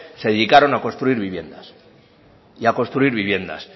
se dedicaron a construir viviendas y a construir viviendas